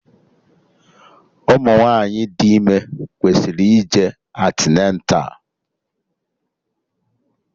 Ụmụ nwaanyị dị ime kwesịrị ije antịneta